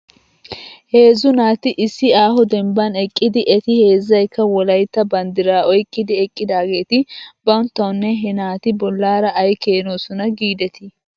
Heezzu naati issi aaho dembban eqqidi eti heezzaykka wolaytta banddiraa oyqqidi eqqidaageeti banttawnne he naati bolaara ay keenoosona giidetii .